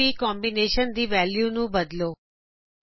ਆਰਜੀਬੀਦੇ combination ਦੀ value ਨੂੰ ਬਦਲੋ